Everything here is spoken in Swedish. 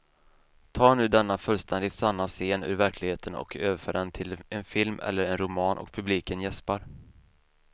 Ta nu denna fullständigt sanna scen ur verkligheten och överför den till en film eller en roman och publiken jäspar.